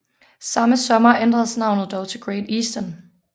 Samme sommer ændredes navnet dog til Great Eastern